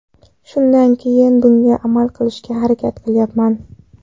Shundan keyin bunga amal qilishga harakat qilyapman.